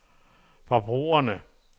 forbrugerne